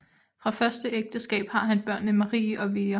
Fra første ægteskab har han børnene Marie og Vera